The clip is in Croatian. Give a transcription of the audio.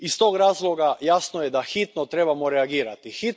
Iz tog razloga jasno je da hitno trebamo reagirati.